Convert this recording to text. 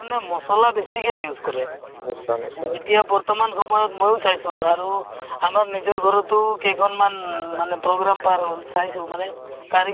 কিন্তু কিন্ data অ trial ID বনাব লাগে তেনেধৰণৰ ID বনাব লাগে to তেনেকে অ কামৰ কাৰণে মোক ৰাখিছে to এতিয়া বস্তুতো কি হয় তাতো